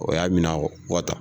O y'a minɛ